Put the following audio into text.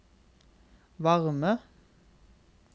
varme